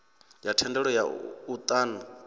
ya thendelo ya u ṱun